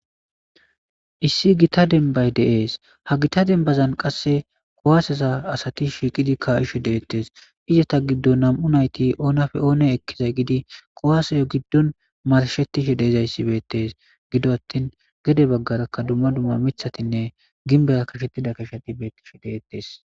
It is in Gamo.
issi gita denbay deees ha gita dembazan qasse kowaaseza asati shiiqidi kayishe deettes izata giddon nam7u nayti oonafe oone ekkizay gidi qowaseyo giddon marshettishi deezayssi beettes gido attin gede baggarakka dumma dumma mithatinne ginbera kashettida kasheti beettishi deettes